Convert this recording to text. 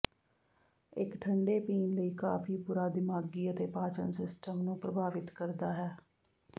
ਇੱਕ ਠੰਡੇ ਪੀਣ ਲਈ ਕਾਫ਼ੀ ਬੁਰਾ ਦਿਮਾਗੀ ਅਤੇ ਪਾਚਨ ਸਿਸਟਮ ਨੂੰ ਪ੍ਰਭਾਵਿਤ ਕਰਦਾ ਹੈ